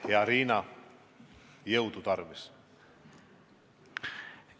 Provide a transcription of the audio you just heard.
Hea Riina, jõudu tarvis!